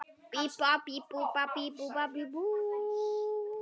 Fer svo aftur á flakk.